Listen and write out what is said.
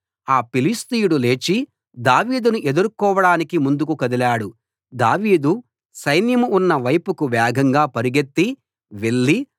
ఆ ఫిలిష్తీయుడు లేచి దావీదును ఎదుర్కోవడానికి ముందుకు కదిలాడు దావీదు సైన్యం ఉన్న వైపుకు వేగంగా పరిగెత్తి వెళ్ళి